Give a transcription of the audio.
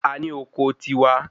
A ní oko tiwa.